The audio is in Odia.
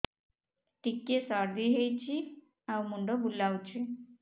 ଟିକିଏ ସର୍ଦ୍ଦି ହେଇଚି ଆଉ ମୁଣ୍ଡ ବୁଲାଉଛି